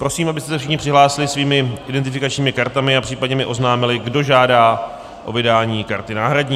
Prosím, abyste se všichni přihlásili svými identifikačními kartami a případně mi oznámili, kdo žádá o vydání karty náhradní.